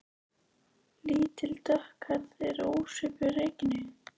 Lítil og dökkhærð og ekki ósvipuð Regínu